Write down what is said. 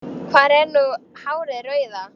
Hvar er nú hárið rauða?